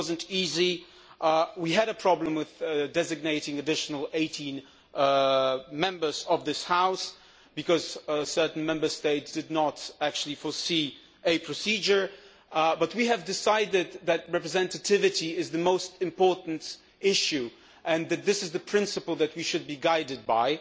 It was not easy. We had a problem with designating an additional 18 Members of this House because certain Member States did not actually plan for a procedure, but we decided that representativeness is the most important issue, that this is the principle which we should be guided by